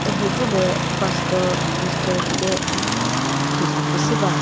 mhüzü lü pastor minister bi deh thüzho küsü va.